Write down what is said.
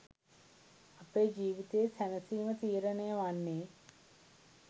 අපේ ජීවිතයේ සැනසීම තීරණය වන්නේ